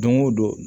Don go don